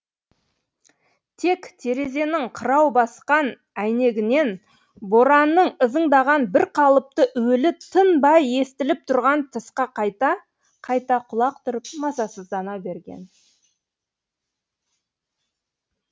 тек терезенің қырау баскан әйнегінен боранның ызыңдаған бірқалыпты уілі тынбай естіліп тұрған тысқа қайта қайта құлақ түріп мазасыздана берген